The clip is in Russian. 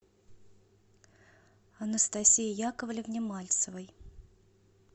анастасии яковлевне мальцевой